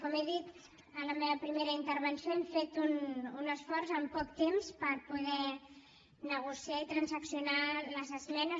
com he dit en la meva primera intervenció hem fet un esforç en poc temps per poder negociar i transaccionar les esmenes